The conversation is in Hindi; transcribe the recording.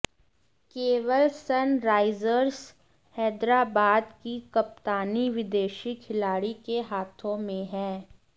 केवल सनराइजर्स हैदराबाद की कप्तानी विदेशी खिलाड़ी के हाथों में है